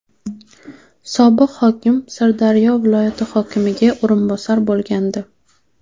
Sobiq hokim Sirdaryo viloyati hokimiga o‘rinbosar bo‘lgandi.